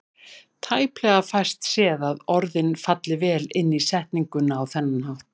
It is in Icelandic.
Tæplega fæst séð að orðin falli vel inn í setninguna á þennan hátt.